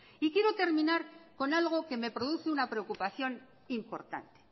y quiero terminar con algo que me produce una preocupación importante